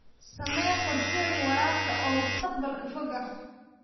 Samee qorshooyin waraabka oo mustaqbalka fog ah.